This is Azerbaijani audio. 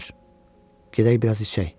George, gedək biraz içək.